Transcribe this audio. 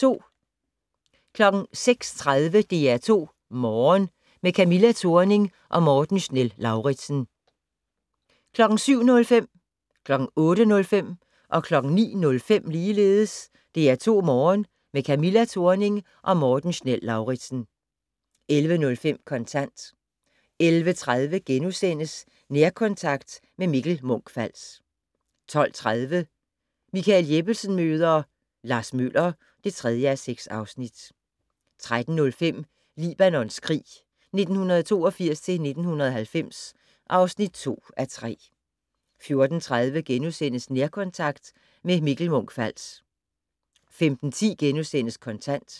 06:30: DR2 Morgen - med Camilla Thorning og Morten Schnell-Lauritzen 07:05: DR2 Morgen - med Camilla Thorning og Morten Schnell-Lauritzen 08:05: DR2 Morgen - med Camilla Thorning og Morten Schnell-Lauritzen 09:05: DR2 Morgen - med Camilla Thorning og Morten Schnell-Lauritzen 11:05: Kontant 11:30: Nærkontakt - med Mikkel Munch-Fals * 12:30: Michael Jeppesen møder ... Lars Møller (3:6) 13:05: Libanons krig 1982-1990 (2:3) 14:30: Nærkontakt - med Mikkel Munch-Fals * 15:10: Kontant *